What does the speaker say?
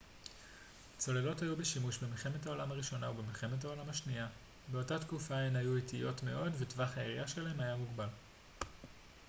צוללות היו בשימוש במלחמת העולם הראשונה ובמלחמת העולם השנייה באותה תקופה הן היו איטיות מאוד וטווח הירייה שלהן היה מוגבל מאוד